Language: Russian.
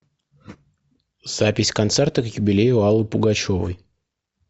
запись концерта к юбилею аллы пугачевой